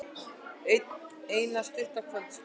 Eina stutta kvöldstund.